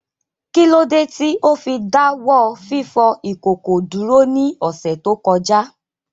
Kí ló dé tí ó fi dá wọ́ fífọ ìkòkò dúró ní ọ̀sẹ̀ tó kọjá?